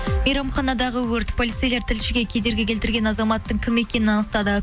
мейрамханадағы өрт полицейлер тілшіге кедергі келтірген азаматтың кім екенін анықтады